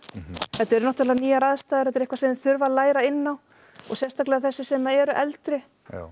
þetta eru náttúrulega nýjar aðstæður er eitthvað sem þeir þurfa að læra inn á og sérstaklega þessir sem eru eldri